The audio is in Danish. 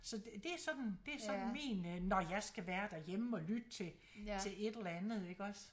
Så det sådan det sådan min øh når jeg skal være derhjemme og lytte til til et eller andet iggås